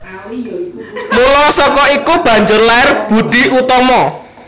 Mula saka iku banjur lair Boedi Oetomo